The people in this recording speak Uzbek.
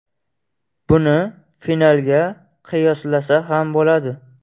Buni finalga qiyoslasa ham bo‘ladi.